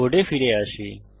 কোডে ফিরে আসি